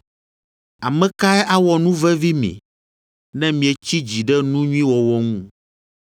Ame kae awɔ nu vevi mi, ne mietsi dzi ɖe nu nyui wɔwɔ ŋu?